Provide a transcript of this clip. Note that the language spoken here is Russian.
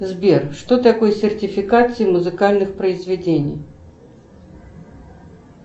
сбер что такое сертификация музыкальных произведений